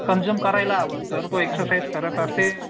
consume करायला हवं जर तो एक्झरसाईझ करत असेल